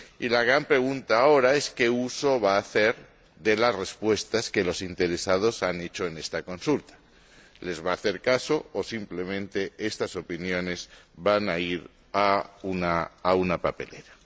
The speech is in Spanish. La gran pregunta ahora es ¿qué uso va a hacer de las respuestas de los interesados en esta consulta? ¿Les va a hacer caso o simplemente estas opiniones van a ir a la papelera?